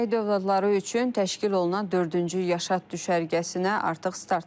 Şəhid övladları üçün təşkil olunan dördüncü Yaşad düşərgəsinə artıq start verilib.